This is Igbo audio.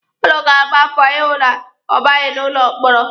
Ụnụ ga-agba mbọ ịhụ na ọ baghị n'ụlọ mkpọrọ.